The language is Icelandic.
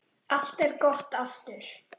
Allt er gott aftur.